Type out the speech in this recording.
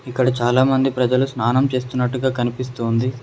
ఇక్కడ చాలామంది ప్రజలు స్నానం చేస్తున్నట్టుగా కనిపిస్తూ ఉంది.